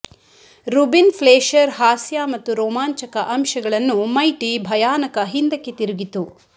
Ruben Fleischer ಹಾಸ್ಯ ಮತ್ತು ರೋಮಾಂಚಕ ಅಂಶಗಳನ್ನು ಮೈಟಿ ಭಯಾನಕ ಹಿಂದಕ್ಕೆ ತಿರುಗಿತು